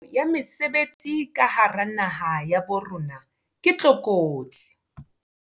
Tlhokeho ya mesebetsi ka hara naha ya bo rona ke tlokotsi.